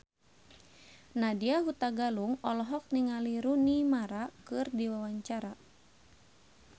Nadya Hutagalung olohok ningali Rooney Mara keur diwawancara